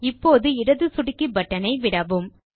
இப்போது இடது சொடுக்கி பட்டனை விடவும்